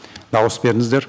дауыс беріңіздер